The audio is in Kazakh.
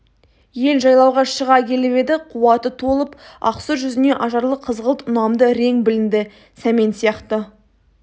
ел жайлауға шыға келіп еді қуаты толып ақсұр жүзіне ажарлы қызғылт ұнамды ірең білінді сәмен сияқты